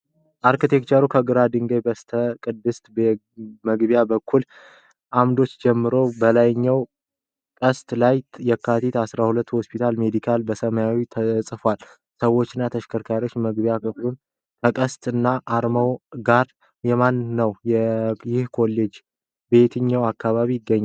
አርኪቴክቸሩ ከግራጫ ድንጋይ በተሰራ ቅስት መግቢያ በሁለት ዓምዶች ይጀምራል። በላይኛው ቅስት ላይ “የካቲት ፲፪ ሆስፒታል ሜዲካል ኮሌጅ” በሰማያዊ ተጽፏል። ሰዎችና ተሽከርካሪዎች መግቢያውን ያልፋሉ። ከቅስቱ አናት ያለው አርማ የማን ነው? የህክምና ኮሌጁ በየትኛው አካባቢ ይገኛል?